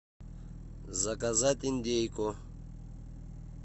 заказать индейку